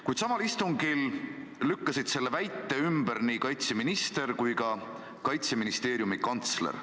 Kuid samal istungil lükkasid selle väite ümber nii kaitseminister kui ka Kaitseministeeriumi kantsler.